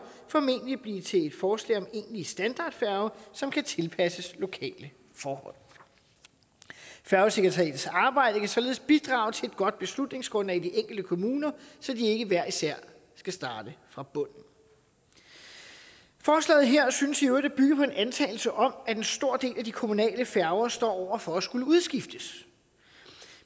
formentlig blive til et forslag om en egentlig standardfærge som kan tilpasses lokale forhold færgesekretariatets arbejde kan således bidrage til et godt beslutningsgrundlag i de enkelte kommuner så de ikke hver især skal starte fra bunden forslaget her synes i øvrigt at bygge på en antagelse om at en stor del af de kommunale færger står over for at skulle udskiftes